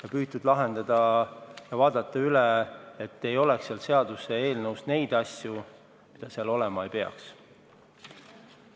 On püütud üle vaadata, et seaduseelnõus ei oleks asju, mida seal olema ei peaks.